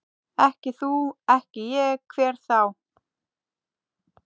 Ekki þú, ekki ég, hver þá?